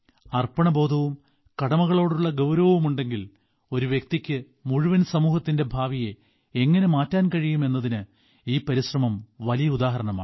അർപ്പണബോധവും കടമകളോടുള്ള ഗൌരവവും ഉണ്ടെങ്കിൽ ഒരു വ്യക്തിക്ക് മുഴുവൻ സമൂഹത്തിന്റെ ഭാവിയെ എങ്ങനെ മാറ്റാൻ കഴിയും എന്നതിന് ഈ പരിശ്രമം വലിയ ഉദാഹരണമാണ്